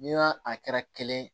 Ni y'a a kɛra kelen ye